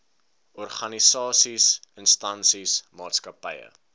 organisasies instansies maatskappye